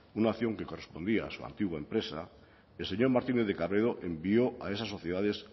una acción que correspondía a su antigua empresa el señor martínez de cabredo envió a esas sociedades